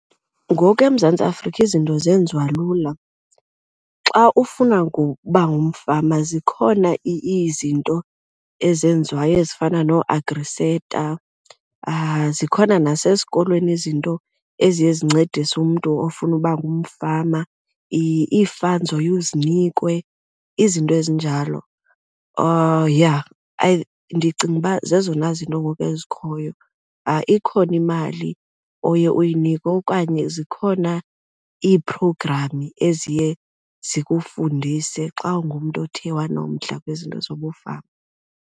Ngoku eMzantsi Afrika izinto zenziwa lula. Xa ufuna ngokuba ngumfama zikhona izinto ezenziwayo ezifana nooAgri SETA, zikhona nasesikolweni izinto eziye zincedise umntu ofuna uba ngumfama, ii-funds oye uzinikwe izinto ezinjalo, yha. Ndicinga uba zezona zinto ngoku ezikhoyo. Ikhona imali oye uyinikwe okanye zikhona ii-program eziye zikufundise xa ungumntu othe wanomdla kwizinto zobufama.